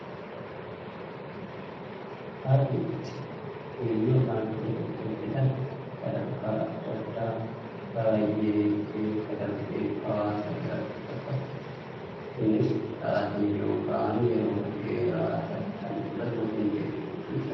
Haalli itti weelluu yookaan sirba itti hojjetan sadarkaa addaa addaa baayyee keessa darbeetu hawaasa bira dhaqqaba. Innis Saatii yookaan yeroo baayyee dheeraa ta'e kan fudhatu qindeessuu fi sagalee waraabuun fa'aa.